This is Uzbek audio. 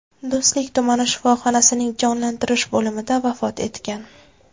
Do‘stlik tumani shifoxonasining jonlantirish bo‘limida vafot etgan.